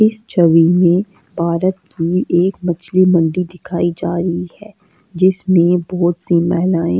इस छवि में भारत की एक मछली मंडी दिखाई जा रही है जिसमें बहोत सी महिलाएं--